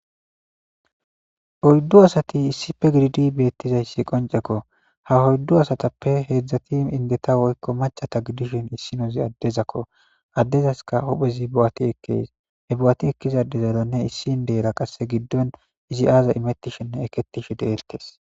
Oyddu asati issipe gidid betizays qonceko ha oyddu asatape hedzdzati indeta woykko maccata gidishin issinez adezako adezasika huphphez bo'ati ekes he bo'ati ekiza adezarane issi indera qasse giddon izi aza imetishene eketishe de'etes.